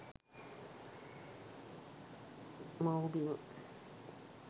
maubima